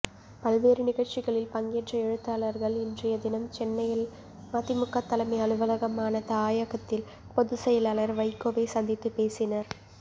பல்வேறு நிகழ்ச்சிகளில் பங்கேற்ற எழுத்தாளர்கள் இன்றைய தினம் சென்னையில் மதிமுக தலைமை அலுவலகமான தாயகத்தில் பொதுச்செயலாளர் வைகோவை சந்தித்துப் பேசினர்